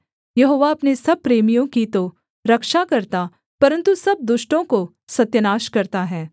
यहोवा अपने सब प्रेमियों की तो रक्षा करता परन्तु सब दुष्टों को सत्यानाश करता है